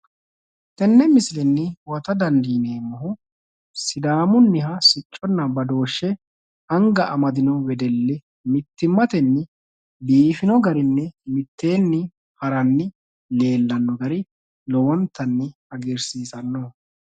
tenne misilenni huwata dandiineemmohu sidaamunniha sicconna badooshshe anga amadino wedelli mittimmatenni biifino garinni mitteenni haranni leellanno gari lowontanni hagiirsiisanno.